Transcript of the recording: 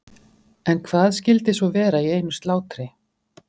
En hvað skyldi svo vera í einu slátri?